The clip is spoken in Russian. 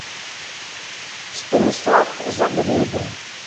станислав загребин